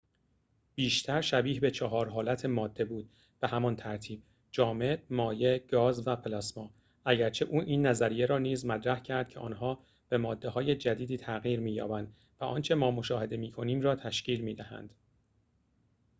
بیشتر شبیه به چهار حالت ماده بود به همان ترتیب: جامد،‌ مایع، گاز و پلاسما، اگرچه او این نظریه را نیز مطرح کرد که آنها به ماده‌های جدیدی تغییر می‌یابند و آنچه ما مشاهده می‌کنیم را تشکیل می‌دهند